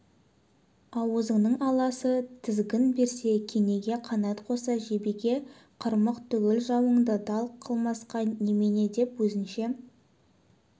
аузының аласы тізгін берсе кенеге қанат қосса жебеге қырмақ түгіл жауыңды дал қылмасқа немене деп өзіне